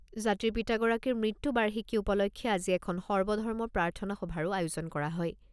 জাতিৰ পিতাগৰাকীৰ মৃত্যুবাৰ্ষিকী উপলক্ষে আজি এখন সৰ্বধৰ্ম প্ৰাৰ্থনা সভাৰো আয়োজন কৰা হয়।